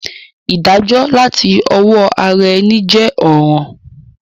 Ìdájó làti owó ara eni je òràn